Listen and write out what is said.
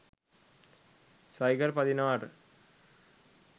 cycle පදිනවාට